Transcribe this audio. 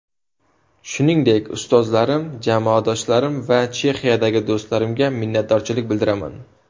Shuningdek, ustozlarim, jamoadoshlarim va Chexiyadagi do‘stlarimga minnatdorchilik bildiraman.